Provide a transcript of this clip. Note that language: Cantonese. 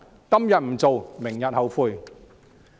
今天不做，明天後悔。